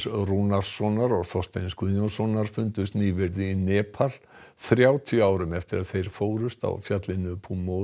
Rúnarssonar og Þorsteins Guðjónssonar fundust nýverið í Nepal þrjátíu árum eftir að þeir fórust á fjallinu